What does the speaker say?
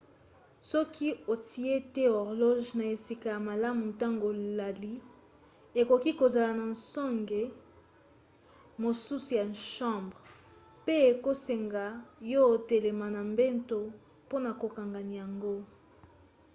soki otie te horloge na esika ya malamu ntango olali ekoki kozala na songe mosusu ya chambre pe ekosenga yo otelema na mbeto mpona kokanga yango